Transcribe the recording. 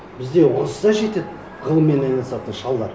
бізде онсыз да жетеді ғылыммен айналысатын шалдар